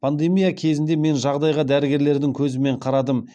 пандемия кезінде мен жағдайға дәрігерлердің көзімен қарадым